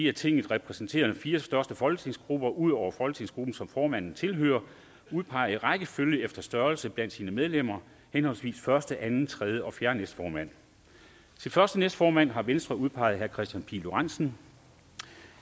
i tinget repræsenterede fire største folketingsgrupper ud over den folketingsgruppe som formanden måtte tilhøre udpeger i rækkefølge efter størrelse blandt sine medlemmer henholdsvis første anden tredje og fjerde næstformand til første næstformand har venstre udpeget herre kristian pihl lorentzen